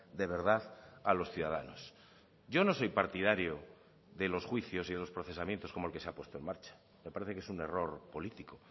de verdad a los ciudadanos yo no soy partidario de los juicios y los procesamientos como el que se ha puesto en marcha me parece que es un error político